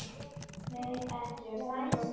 Nei, ekki er það nú.